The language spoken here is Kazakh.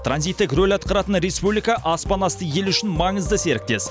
транзиттік рөл атқаратын республика аспанасты елі үшін маңызды серіктес